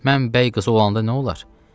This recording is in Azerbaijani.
Mən bəy qızı olandan sonra nə olar?